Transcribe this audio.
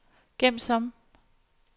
gem som